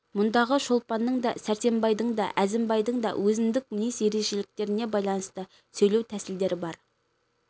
мұндағы шолпанның да сәрсенбайдың да әзімбайдың да өзіндік мінез ерекшеліктеріне байланысты сөйлеу тәсілдері бар